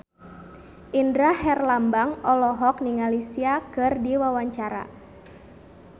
Indra Herlambang olohok ningali Sia keur diwawancara